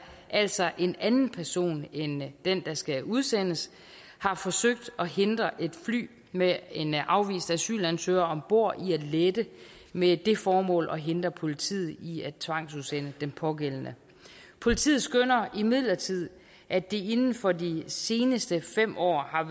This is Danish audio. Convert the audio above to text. altså en anden person end den der skal udsendes har forsøgt at hindre et fly med en afvist asylansøger om bord i at lette med det formål at hindre politiet i at tvangsudsende den pågældende politiet skønner imidlertid at det inden for de seneste fem år er